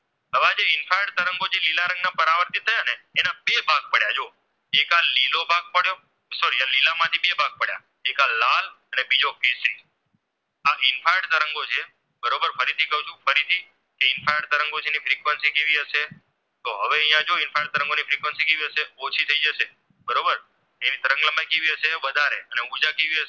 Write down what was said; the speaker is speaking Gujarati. infrared તરંગો છે તેની Frequency કેવી હશે તે હવે અહીંયા જોયી infrared તરંગો ને ઓછી થાય જશે બરોબર તેની તરંગ લંબાઈ કેવી હશે વધારે ને ઉર્જા કેવી હશે